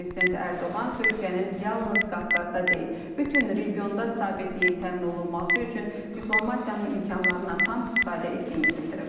Prezident Ərdoğan Türkiyənin yalnız Qafqazda deyil, bütün regionda sabitliyin təmin olunması üçün diplomatiyanın imkanlarından tam istifadə etdiyini bildirib.